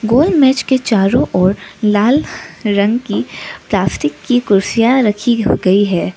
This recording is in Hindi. और मेज के चारों ओर लाल रंग की प्लास्टिक की कुर्सियां रखी गई है।